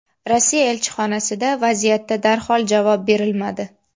Rossiya elchixonasida vaziyatda darhol javob berilmadi.